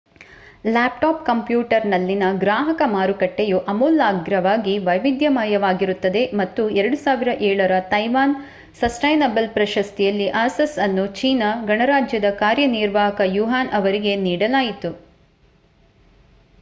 laptop ಕಂಪ್ಯೂಟರ್‌ನಲ್ಲಿನ ಗ್ರಾಹಕ ಮಾರುಕಟ್ಟೆಯು ಆಮೂಲಾಗ್ರವಾಗಿ ವೈವಿಧ್ಯಮಯವಾಗಿರುತ್ತದೆ ಮತ್ತು 2007 ರ ತೈವಾನ್ ಸಸ್ಟೈನಬಲ್ ಪ್ರಶಸ್ತಿಯಲ್ಲಿ ಆಸಸ್ ಅನ್ನು ಚೀನಾ ಗಣರಾಜ್ಯದ ಕಾರ್ಯನಿರ್ವಾಹಕ ಯುವಾನ್ ಅವರಿಗೆ ನೀಡಲಾಯಿತು